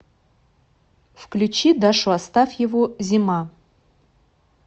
включи дашу астафьеву зима